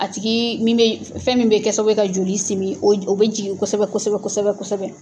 A tigi min bɛ, fɛn min bɛ kɛ sababu ye ka joli simi o o bɛ jigin kosɛbɛ kosɛbɛ kosɛbɛ kosɛbɛ.